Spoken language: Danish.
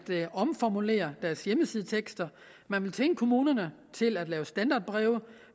omformulere deres hjemmesidetekster man vil tvinge kommunerne til at lave standardbreve